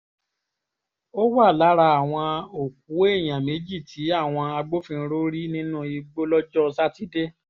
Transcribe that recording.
ó wà lára àwọn òkú èèyàn méjì tí àwọn agbófinró rí nínú igbó lọ́jọ́ sátidé